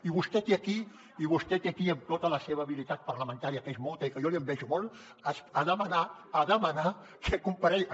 i vostè ve aquí amb tota la seva habilitat parlamentària que és molta i que jo li envejo molt a demanar a demanar que comparegui